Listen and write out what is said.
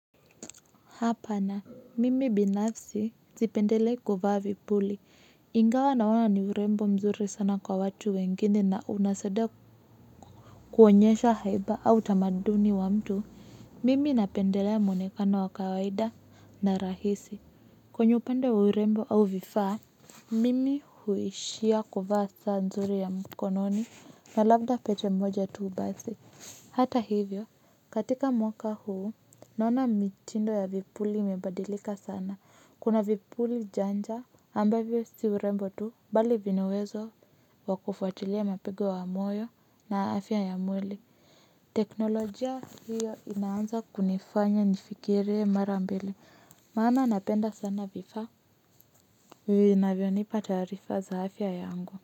Hapa na mimi binafsi zipendelei kuvaa vipuli ingawa naona ni urembo mzuri sana kwa watu wengine na unasaidia kuonyesha haiba au utamaduni wa mtu mimi napendelea mwonekano wa kawaida na rahisi kwenye upande wa urembo au vifaa mimi huishia kuvaa saa nzuri ya mkononi na labda pete moja tu basi. Hata hivyo, katika mwaka huu, naona mitindo ya vipuli imebadilika sana. Kuna vipuli janja ambavyo si urembo tu, bali vina uwezo wa kufuatilia mapigo wa moyo na afya ya mwili. Teknolojia hiyo inaanza kunifanya nifikirie mara mbili. Maana napenda sana vifaa. Vinavyonipa taarifa za afya yangu.